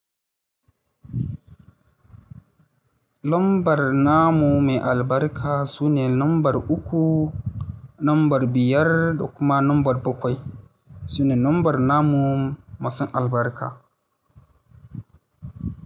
Lambar namu mai albarka sune lambar uku, lambar biyar da kuma lambar bakwai sune lambar namun masu albarka.